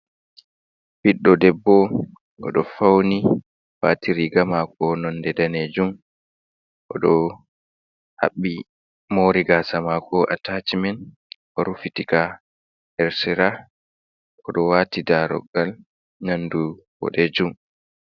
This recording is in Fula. Ɓiɗdo debbo o ɗo fauni wati riga mako nonde danejum, o ɗo haɓɓi mori gasa mako atacimen o rufitika her sera, o ɗo wati daroggal nandu boɗejum.